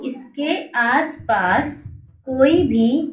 इसके आस पास कोई भी--